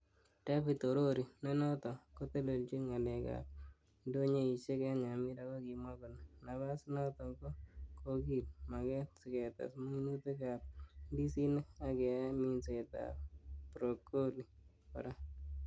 Devid Orori ,nenoton kotelechin ngalek ab indonyoisiek en Nyamira kokimwa kole,"napas inoton ko kogil maget siketes minutik ab indisinik ak keyae minsetab Brocoli kora.